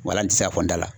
Walansisɔn dala